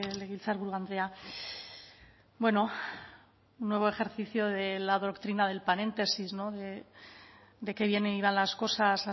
legebiltzarburu andrea bueno un nuevo ejercicio de la doctrina del paréntesis no de qué bien iban las cosas